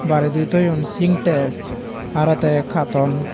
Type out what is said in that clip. baredi toyun syntex aro te cartoon.